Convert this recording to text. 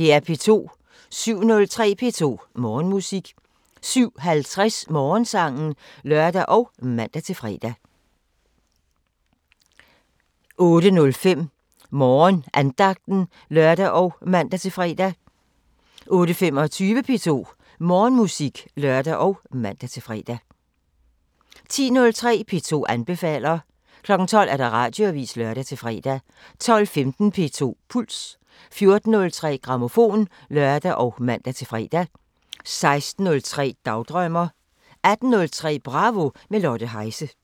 07:03: P2 Morgenmusik 07:50: Morgensangen (lør og man-fre) 08:05: Morgenandagten (lør og man-fre) 08:25: P2 Morgenmusik (lør og man-fre) 10:03: P2 anbefaler 12:00: Radioavisen (lør-fre) 12:15: P2 Puls 14:03: Grammofon (lør og man-fre) 16:03: Dagdrømmer 18:03: Bravo – med Lotte Heise